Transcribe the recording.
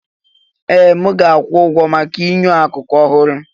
Ee! M ga-akwụ ụgwọ maka enyo akụkụ ọhụrụ.